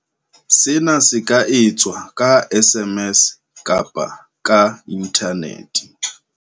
Sena se ka etswa ka SMS kapa ka inthanete.